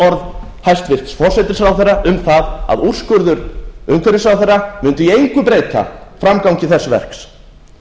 orð hæstvirts forsætisráðherra um það að úrskurður umhverfisráðherra muni í engu breyta framgangi þess verks